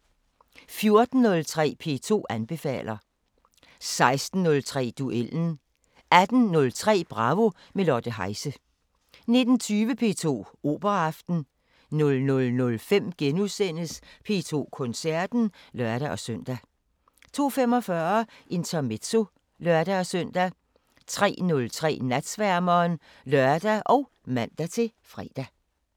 14:03: P2 anbefaler 16:03: Duellen 18:03: Bravo – med Lotte Heise 19:20: P2 Operaaften 00:05: P2 Koncerten *(lør-søn) 02:45: Intermezzo (lør-søn) 03:03: Natsværmeren (lør og man-fre)